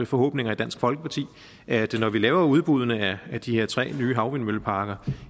forhåbning i dansk folkeparti at når vi laver udbuddene af de her tre nye havvindmølleparker